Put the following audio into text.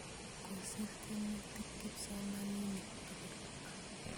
Kosir tyemutik kipsomaninik tukul